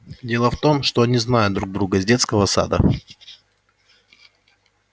дело в том что они знают друг друга с детского сада